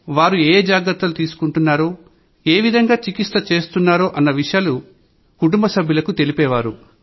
వారు ఏఏ జాగ్రత్తలు తీసుకుంటున్నారో ఏవిధంగా చికిత్స చేస్తున్నారో అన్ని విషయాలు కుటుంబ సభ్యులకు తెలిపేవారు